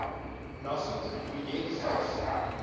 nuffic projek vyf